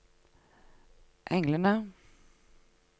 englene